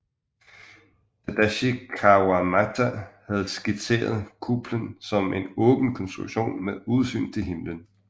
Tadashi Kawamata havde skitseret kuplen som en åben konstruktion med udsyn til himlen